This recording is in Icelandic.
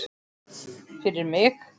Fyrir mig.